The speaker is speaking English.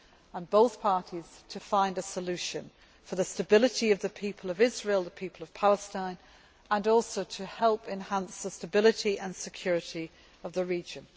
end and both parties find a solution for the stability of the people of Israel and for the people of Palestine, which will also help enhance the stability and security of the region.